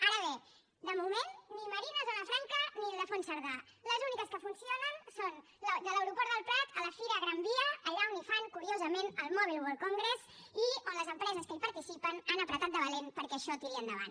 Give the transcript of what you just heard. ara bé de moment ni marina zona franca ni ildefons cerdà les úniques que funcionen són de l’aeroport del prat a la fira gran via allà on hi fan curiosament el mobile world congress i on les empreses que hi participen han apretat de valent perquè això tiri endavant